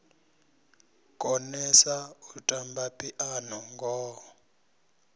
konesa u tamba phiano ngoho